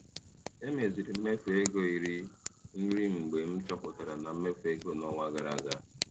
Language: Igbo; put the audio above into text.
Emeziri m mmefu ego iri nri mgbe m chọpụtachara na emefu ego n'ọnwa gara aga.